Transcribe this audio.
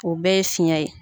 O bɛɛ ye fiyɛn ye.